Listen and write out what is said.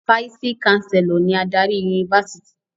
Fáìsì-káńsélọ̀ ni adarí yunifásítì.